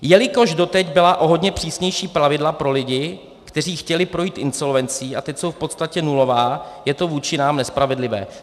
Jelikož doteď byla o hodně přísnější pravidla pro lidi, kteří chtěli projít insolvencí, a teď jsou v podstatě nulová, je to vůči nám nespravedlivé.